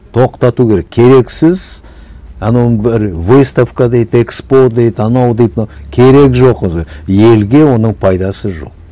тоқтату керек керексіз анауының бәрі выставка дейді экспо дейді анау дейді мынау керегі жоқ елге оның пайдасы жоқ